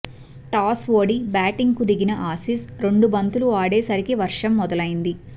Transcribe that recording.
toss ఓడి బ్యాటింగ్కు దిగిన ఆసీస్ రెండు బంతులు ఆడే సరికి వర్షం మొదలైంది